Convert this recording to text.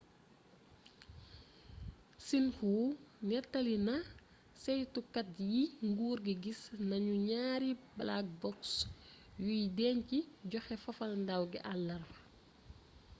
xinhu nettali na ceytukat yi nguur gi gis nanu ñaari black box' yuy denc joxe fafalndaaw gi àlarba